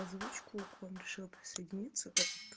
озвучку к вам решила присоединиться так как